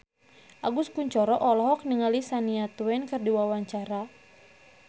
Agus Kuncoro olohok ningali Shania Twain keur diwawancara